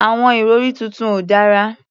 Àwọn ìrọ̀rí tuntun ò dára.